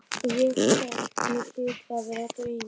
Ég hélt mig hlyti að vera að dreyma.